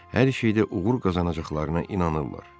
Hər şeydə uğur qazanacaqlarına inanırlar.